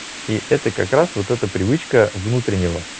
и это как раз вот это привычка внутреннего